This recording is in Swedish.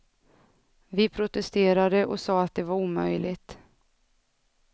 Vi protesterade och sade att det var omöjligt.